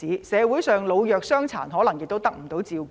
社會上老弱傷殘可能得不到照顧。